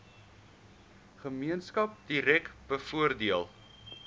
gemeenskap direk bevoordeel